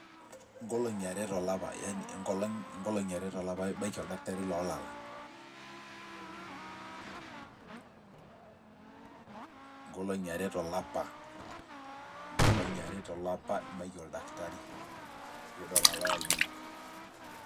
ngolongi aree tolapa ibaki oldakitari lolalak ,ngolongi aare tolapa ibaki oldakitari pii dol ilalak linonok